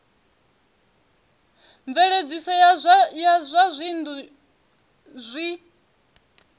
mveledziso ya zwa dzinnu zwi